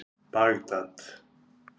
Bagdad